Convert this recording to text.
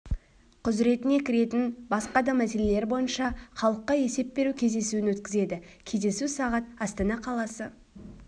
құзыретіне кіретін басқа да мәселелер бойынша халыққа есеп беру кездесуін өткізеді кездесу сағат астана қаласы